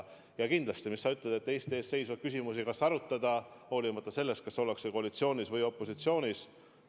Ja kindlasti, nagu sa ütled, Eesti ees seisvaid küsimusi tuleb arutada, olenemata sellest, kas ollakse koalitsioonis või opositsioonis.